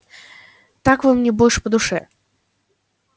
так вы мне больше по душе